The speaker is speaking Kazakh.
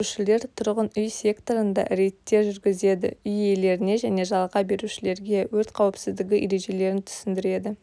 сөндірушілер тұрғын үй секторында рейдтер жүргізеді үй иелеріне және жалға берушілерге өрт қауіпсіздігі ережелерін түсіндіреді